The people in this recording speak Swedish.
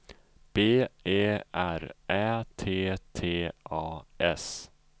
B E R Ä T T A S